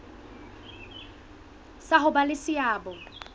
sa ho ba le seabo